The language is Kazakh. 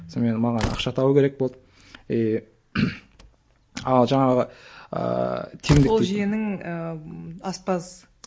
сонымен маған ақша табу керек болды и ал жаңағы ыыы ол жиенің ііі аспаз